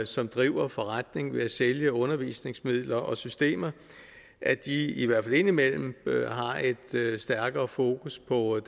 som driver forretning ved at sælge undervisningsmidler og systemer i i hvert fald indimellem har et stærkere fokus på at